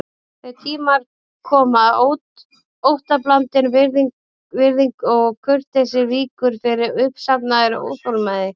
Þeir tímar koma að óttablandin virðing og kurteisi víkur fyrir uppsafnaðri óþolinmæði.